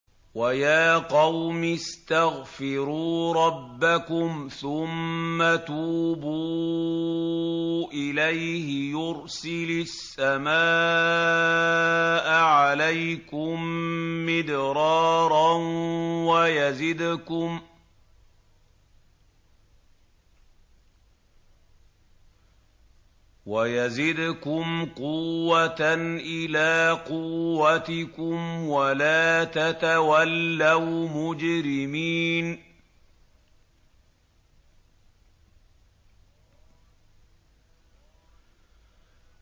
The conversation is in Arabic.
وَيَا قَوْمِ اسْتَغْفِرُوا رَبَّكُمْ ثُمَّ تُوبُوا إِلَيْهِ يُرْسِلِ السَّمَاءَ عَلَيْكُم مِّدْرَارًا وَيَزِدْكُمْ قُوَّةً إِلَىٰ قُوَّتِكُمْ وَلَا تَتَوَلَّوْا مُجْرِمِينَ